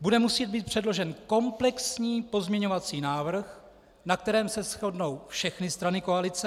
Bude muset být předložen komplexní pozměňovací návrh, na kterém se shodnou všechny strany koalice.